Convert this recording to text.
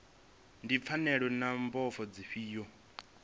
ndi pfanelo na mbofho dzifhio